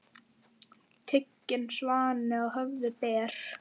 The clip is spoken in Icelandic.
Hún býr núna í Berlín.